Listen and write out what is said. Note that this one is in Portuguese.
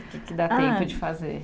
O que dá tempo de fazer?